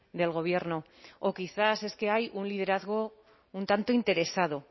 del gobierno o quizás es que hay un liderazgo un tanto interesado